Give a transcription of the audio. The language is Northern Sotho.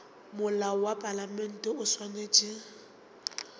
molao wa palamente o swanetše